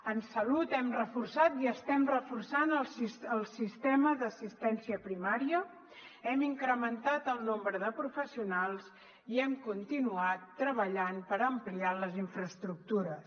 en salut hem reforçat i estem reforçant el sistema d’assistència primària hem incrementat el nombre de professionals i hem continuat treballant per ampliar les infraestructures